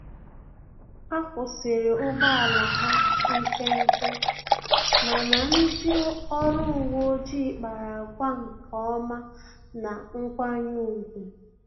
Akwusiri ụgbọ ala ha nkenke, mana ndị ọrụ uwe ọjị kpara àgwà nkeọma na nkwanye ùgwù